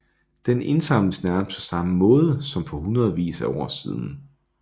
Den indsamles nærmest på samme måde som for hundredvis af år siden